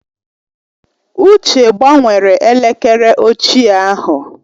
Uche gbanwere elekere ochie ahụ.